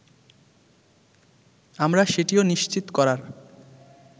আমরা সেটিও নিশ্চিত করার